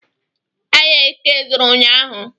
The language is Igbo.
Ahịa Eke zụrụ unyaahụ.